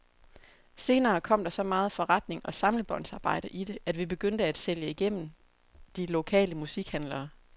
Senere kom der så meget forretning og samlebåndsarbejde i det, at vi begyndte at sælge igennem de lokale musikhandlere.